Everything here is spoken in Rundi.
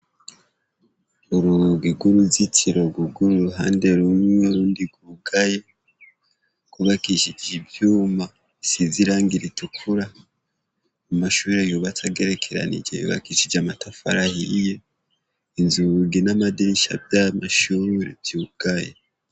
Urugi rw'uruzitiro rwuguruye uruhande rumwe, urundi rwugaye, rwubakishije ivyuma, rusize irangi ritukura. Amashure yubatse agerekeranije, yubakishije amatafari ahiye, inzugi n'amadirisha vyayo mashure vyugaye.